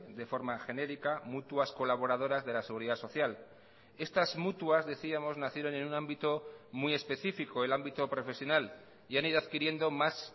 de forma genérica mutuas colaboradoras de la seguridad social estas mutuas decíamos nacieron en un ámbito muy específico el ámbito profesional y han ido adquiriendo más